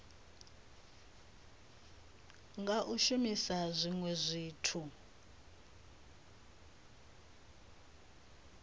nga u shumisa zwinwe zwithu